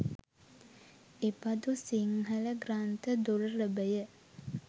එබඳු සිංහල ග්‍රන්ථ දුර්ලභය.